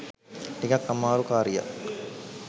ටිකක් අමාරු කාරියක්.